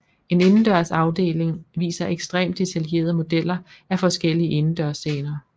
En indendørs afdeling viser ekstremt detaljerede modeller af forskellige indendørsscener